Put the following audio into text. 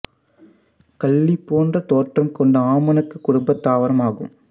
கள்ளி போன்ற தோற்றம் கொண்ட ஆமணக்குக் குடும்ப தாவரம் ஆகும்